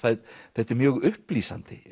þetta er mjög upplýsandi